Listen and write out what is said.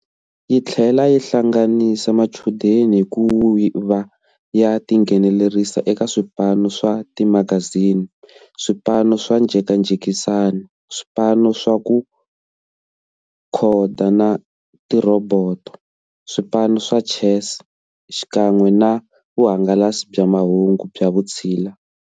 Yi tlhela yi hlanganisa machudeni hi ku va ya tinghenelerisa eka swipano swa timagazini, swipano swa njhekanjhekisano, swipano swa ku khoda na tirhoboto, swipano swa chess xinkanwe na vuhangalasi bya mahungu bya vutshila.